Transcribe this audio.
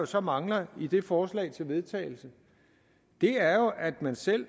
så mangler i det forslag til vedtagelse er jo at man selv